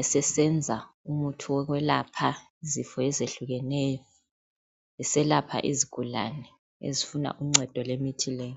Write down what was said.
esesenza umuthi wokwelapha izifo ezehlukeneyo eselapha izigulane ezifuns uncedo lwemithi le.